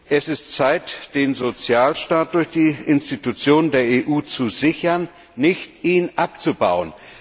Es ist Zeit, den Sozialstaat durch die Institutionen der EU zu sichern, nicht ihn abzubauen.